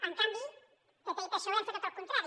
en canvi pp i psoe han fet tot el contrari